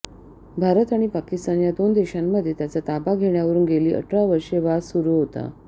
भारत आणि पाकिस्तान या दोन देशांमध्ये त्याचा ताबा घेण्यावरून गेली अठरा वर्षे वाद सुरू होता